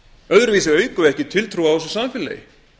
öðruvísi aukum við ekki tiltrú á þessu samfélagi